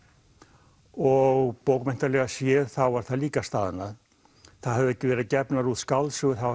og bókmenntalega séð þá var það líka staðnað það höfðu ekki verið gefnar út skáldsögur